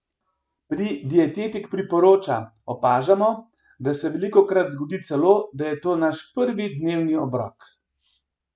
Pri Dietetik priporoča opažamo, da se velikokrat zgodi celo, da je to naš prvi dnevni obrok!